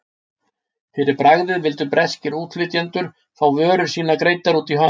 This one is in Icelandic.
Fyrir bragðið vildu breskir útflytjendur fá vörur sínar greiddar út í hönd.